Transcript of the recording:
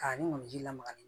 Ka ni mɔni ji la